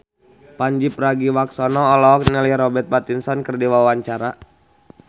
Pandji Pragiwaksono olohok ningali Robert Pattinson keur diwawancara